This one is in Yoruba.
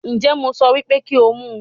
Ǹjẹ́ mo sọ wípé kí ó mu